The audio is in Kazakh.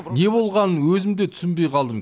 не болғанын өзім де түсінбей қалдым